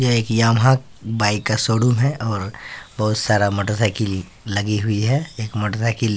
ये एक Yamaha bike का शोरूम है और बहोत सारा एक मोटर साइकिल लगी हुई है एक मोटर साइकिल --